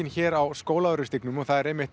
hér á Skólavörðustígnum og það er einmitt